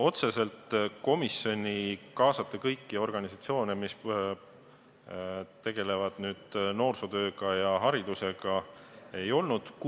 Otseselt komisjoni eesmärk kaasata kõiki organisatsioone, kes tegelevad noorsootöö ja haridusega, ei olnud.